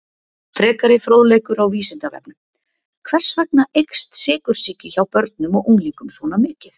Frekari fróðleikur á Vísindavefnum: Hvers vegna eykst sykursýki hjá börnum og unglingum svona mikið?